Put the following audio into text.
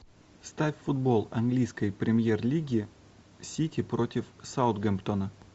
ставь футбол английской премьер лиги сити против саутгемптона